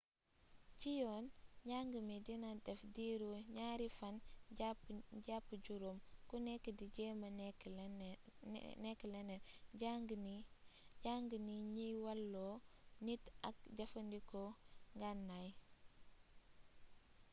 ci yoon njàng mi dina def diiru 2 fan jàpp 5 ku nekk di jéema nekk leneen jàng ni ñiy walloo nit ak jëfandikoo ngànnaay